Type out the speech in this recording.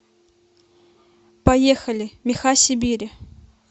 поехали меха сибири